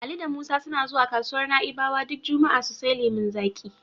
Ali da Musa suna zuwa kasuwar Na'ibawa duk juma'a su sai lemon zaƙi.